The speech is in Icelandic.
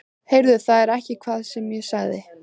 Heyrðu þið ekki hvað ég sagði?